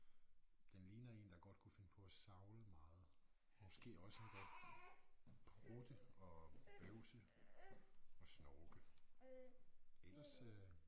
Den ligner én der godt kunne finde på at savle meget. Måske også endda prutte og bøvse og snorke. Ellers øh